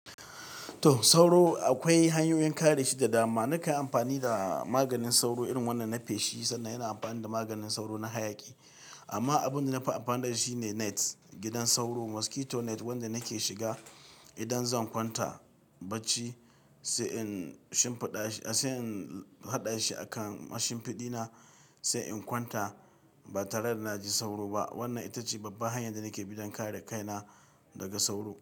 To sauro akwai hanyoyin kare shi da dama. Na kanyi amfani da maganin sauro irin wannan na feshi, sannan ina amfani da maganin sauro na hayaƙi. Amma abin da na fi amfana da shi ne net, gidan sauro, mosquito net wanda nake shiga idan zan kwanta bacci, sai in shimfiɗa shi, sai in haɗa shi a kan mashin fiɗina sai in kwanta. Ba tare da na ji sauro ba. Wannan ita ce babban hanyar da nake bi don kare kaina daga sauro.